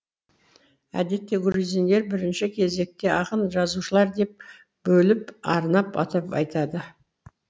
әдетте грузиндер бірінші кезекте ақын жазушылар деп бөліп арнап атап айтады